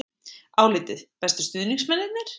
Álitið: Bestu stuðningsmennirnir?